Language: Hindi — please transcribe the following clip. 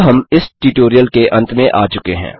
अब हम इस ट्यूटोरियल के अंत में आ चुके हैं